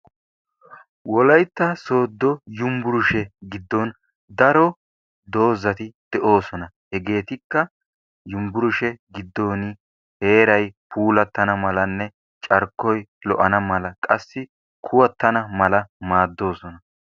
Wolaytta sooddo yumbburshe giddon daro doozati de"oosona. Hegeetikka yumbburshe giddooni heeray puulattana malanne carkkoy lo"ana mala qassi kuwattana mala maaddoosona.